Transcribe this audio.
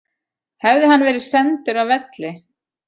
Hefði hann verið sendur af velli